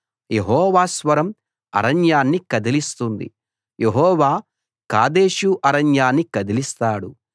యెహోవా స్వరం అరణ్యాన్ని కదిలిస్తుంది యెహోవా కాదేషు అరణ్యాన్ని కదిలిస్తాడు